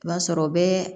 I b'a sɔrɔ o bɛ